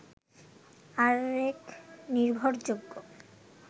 আরেক নির্ভরযোগ্য